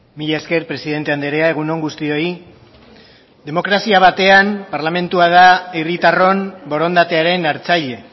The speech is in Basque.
mila esker presidente andrea egun on guztioi demokrazia batean parlamentua da herritarron borondatearen hartzaile